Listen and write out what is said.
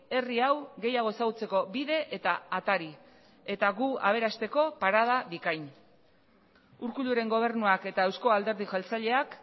herri hau gehiago ezagutzeko bide eta atari eta gu aberasteko parada bikain urkulluren gobernuak eta euzko alderdi jeltzaleak